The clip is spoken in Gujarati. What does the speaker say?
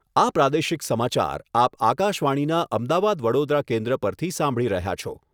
આ પ્રાદેશિક સમાચાર આપ આકશવાણીના અમદાવાદ વડોદરા કેન્દ્ર પરથી સાંભળી રહ્યા છો.